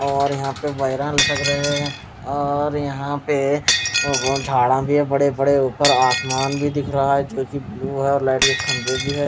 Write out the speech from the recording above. और यहाँ पे लटक रहे है और यहाँ पे झाड़ भी है बड़े बड़े ऊपर आसमान भी दिख रहा है लाइट के खम्बे भी है.